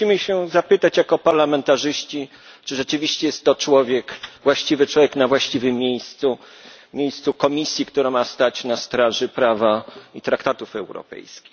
My musimy się zapytać jako parlamentarzyści, czy rzeczywiście jest to właściwy człowiek na właściwym miejscu, w Komisji, która ma stać na straży prawa i traktatów europejskich?